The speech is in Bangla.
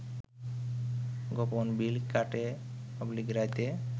গোপন মিল কাটে/রাতে